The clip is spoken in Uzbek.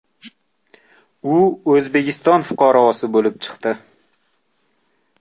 U O‘zbekiston fuqarosi bo‘lib chiqdi.